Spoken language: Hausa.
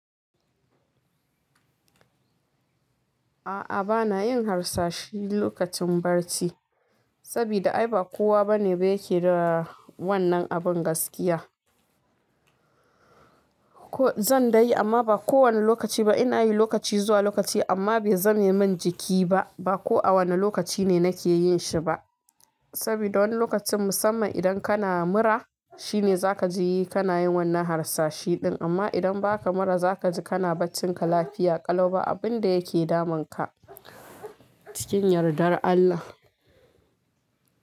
A'a bana yin harsashi lokacin barci, saboda ai ba kowa bane ba yake da wannan abun gaskiya. Ko zan dai yi amma ba kowane lokaci ba. Ina yi lokaci zuwa lokaci amma bai zame min jiki ba. Ba ko a wane lokaci ne nake yin shi ba. Saboda wani lokacin musamman idan kana mura shine za ka ji kana yin wannan harsashi din. Amma idan ba ka mura za ka ji kana barcin ka lafiya ƙalu ba abin da yake damun ka cikin yardar Allah.